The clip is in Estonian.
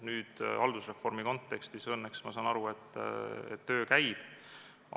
Nüüd haldusreformi kontekstis õnneks, ma saan nii aru, töö käib.